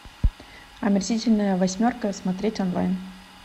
омерзительная восьмерка смотреть онлайн